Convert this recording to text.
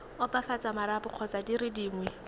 opafatsa marapo kgotsa dire dingwe